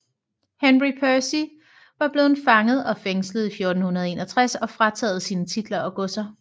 Henry Percy var blevet fanget og fængslet i 1461 og frataget sine titler og godser